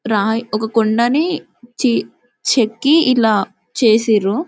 రాయి ఒక కొండని చె చెక్కి ఇలా చెసిరు.